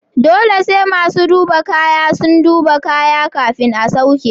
Dole sai masu duba kaya sun duba kaya kafin a sauke.